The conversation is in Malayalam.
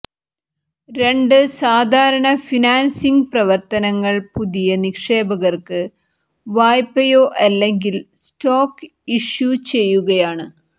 രണ്ട് സാധാരണ ഫിനാൻസിംഗ് പ്രവർത്തനങ്ങൾ പുതിയ നിക്ഷേപകർക്ക് വായ്പയോ അല്ലെങ്കിൽ സ്റ്റോക്ക് ഇഷ്യു ചെയ്യുകയാണ്